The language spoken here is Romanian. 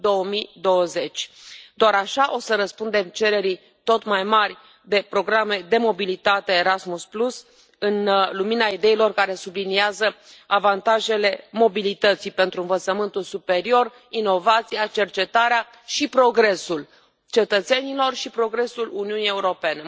2020. Doar așa o să răspundem cererii tot mai mari de programe de mobilitate Erasmus în lumina ideilor care subliniază avantajele mobilității pentru învățământul superior, inovația, cercetarea și progresul cetățenilor și progresul Uniunii Europene.